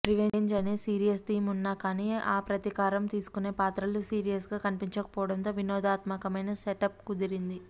revenge అనే serious theme వున్నా కానీ ఆ ప్రతీకారం తీసుకునే పాత్రలు సీరియస్గా కనిపించకపోవడంతో వినోదాత్మకమైన సెటప్ కుదిరింది